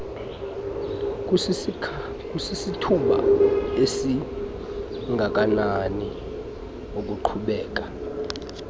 kusisithuba esingakanani iqhubekeka